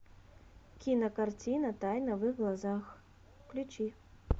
кинокартина тайна в их глазах включи